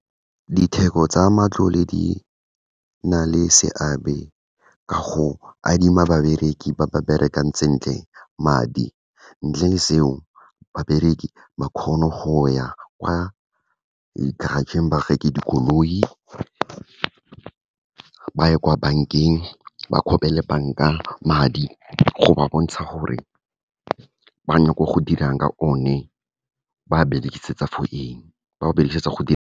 Ditheko tsa matlole di na le seabe ka go adima babereki ba ba berekang sentle madi, ntle le seo babereki ba kgone go ya kwa di-garage-ng ba reke dikoloi, ba ye kwa bankeng ba banka madi, go ba bontsha gore ba go dirang ka one, ba berekisetsa for eng, ba berekisetsa go .